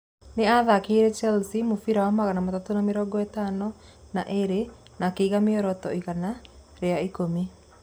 Nĩ acakĩire Chelsea mũbira wa magana matatu na mĩrongo ĩtano na ĩrĩ na akĩiga mĩoroto igana ria ikũmi.